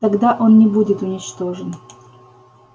тогда он не будет уничтожен